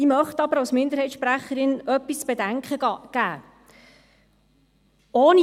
Ich möchte aber als Minderheitssprecherin etwas zu bedenken geben: